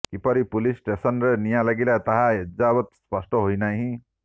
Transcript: କିପରି ପୁଲିସ୍ ଷ୍ଟେସନ୍ରେ ନିଆଁ ଲାଗିଲା ତାହା ଏଯାବତ୍ ସ୍ପଷ୍ଟ ହୋଇନାହିଁ